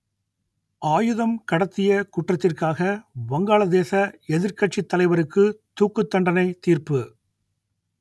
ஆயுதம் கடத்திய குற்றத்திற்காக வங்காளதேச எதிர்க்கட்சித் தலைவருக்கு தூக்குத்தண்டனை தீர்ப்பு